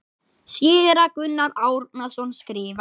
Séra Gunnar Árnason skrifar